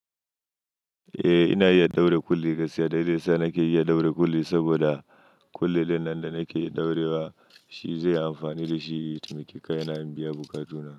Eh ina iya ɗaura kulle, gaskiya dalilai sa nake iya ɗaura kulle saboda kulle wannan da nake ɗaurewa shi zai yi amfani da shi ya taimaki kayana in biya bukatuna.